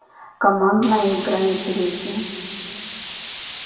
командная игра интереснее